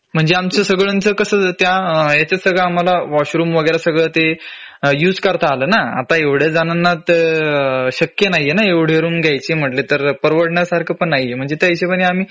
म्हणजे आमचं सगळ्यांचं कसं त्या ह्याच्यात सगळं आम्हाला वॉशरूम वगैरे सगळं ते युझ करता आलं ना आता एवढ्या जणांना ते शक्य नाहीये एव्हडी रूम घ्यायची म्हंटली तर परवडण्यासारखं पण नाहीये म्हंजे